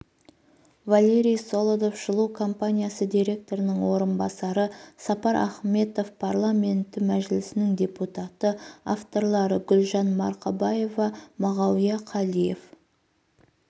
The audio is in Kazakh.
валерий солодов жылу компаниясы директорының орынбасары сапар ахметов парламенті мәжілісінің депутаты авторлары гүлжан марқабаева мағауия қалиев